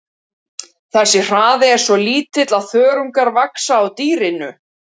Þessi hraði er svo lítill að þörungar vaxa á dýrinu.